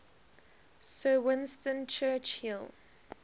sir winston churchill